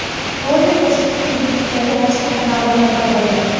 Rolik qo‘shiqchining YouTube’dagi rasmiy kanalida paydo bo‘lgan .